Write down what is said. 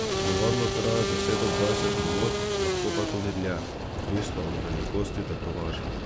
Navadno traja deset do dvajset minut, lahko pa tudi dlje, odvisno od velikosti tetovaže.